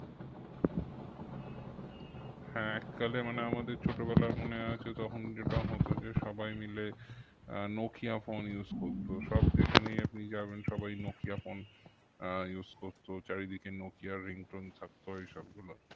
হ্যাঁ এককালে আমাদের ছোটবেলায় মনে আছে তখন যেটা হতো যে সবাই মিলে আহ নোকিয়া phone use করতো, সব যেখানেই আপনি যাবেন সবাই নোকিয়া phone আহ use করতো চারিদিকে নোকিয়ার ringtone থাকতো এইসবগুলো